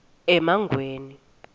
emangweni